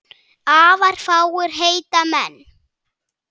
Afar fáir heita menn.